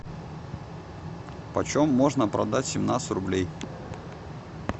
почем можно продать семнадцать рублей